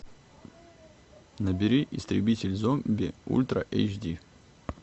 набери истребитель зомби ультра эйч ди